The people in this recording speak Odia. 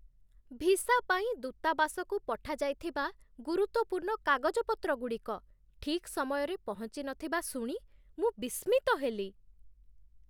ଭିସା ପାଇଁ ଦୂତାବାସକୁ ପଠାଯାଇଥିବା ଗୁରୁତ୍ୱପୂର୍ଣ୍ଣ କାଗଜପତ୍ରଗୁଡ଼ିକ ଠିକ୍ ସମୟରେ ପହଞ୍ଚି ନଥିବା ଶୁଣି ମୁଁ ବିସ୍ମିତ ହେଲି।